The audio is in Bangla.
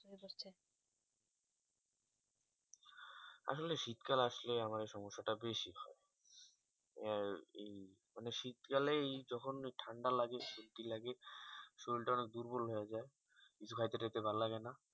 আসলে শীত কাল আসলে আমার সমস্যা তা বেশি হয় মানে শীত কালেই যখন ঠান্ডা লাগে সর্দি লাগে সরিল তা অনেক দুর্বল হয়ে যাই কিছু খাইতে টাইট ভাল লাগে না